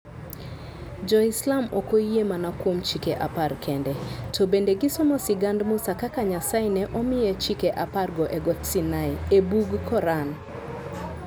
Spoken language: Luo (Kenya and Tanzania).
Jo-Islam ok oyie mana kuom Chike Apar kende, to bende gisomo sigand Musa kaka Nyasaye ne omiye Chike Apargo e Got Sinai, e bug Koran.